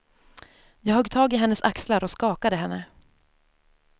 Jag högg tag i hennes axlar och skakade henne.